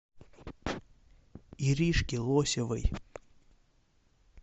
иришке лосевой